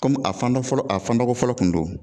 Komi a fandɔ fɔlɔ a fandɔkɔ fɔlɔ tun don